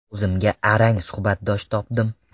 O‘zimga arang suhbatdosh topdim.